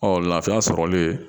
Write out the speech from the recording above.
Ɔ lafiya sɔrɔlen